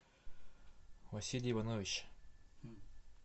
василий иванович